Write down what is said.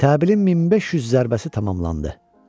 Təbilin 1500 zərbəsi tamamlandı.